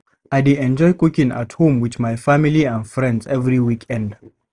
I dey enjoy cooking at home with my family and friends every weekend.